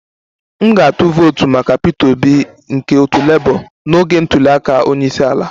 M ga-atụ vootu maka Peter Obi nke otu Labour n'oge ntuli aka onye isi ala